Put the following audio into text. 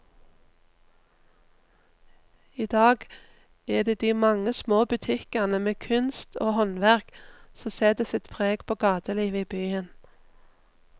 I dag er det de mange små butikkene med kunst og håndverk som setter sitt preg på gatelivet i byen.